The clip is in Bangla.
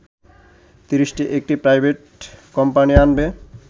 ৩০টি একটি প্রাইভেট কোম্পানি আনবে